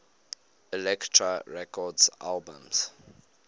elektra records albums